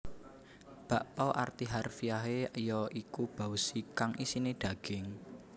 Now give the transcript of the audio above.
Bakpao arti harfiahe ya iku baozi kang isiné daging